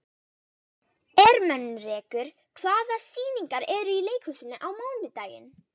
Ermenrekur, hvaða sýningar eru í leikhúsinu á mánudaginn?